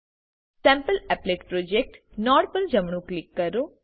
સેમ્પલીપલેટ project node પર જમણું click કરો